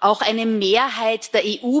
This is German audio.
Auch eine Mehrheit der EU Bürgerinnen und EU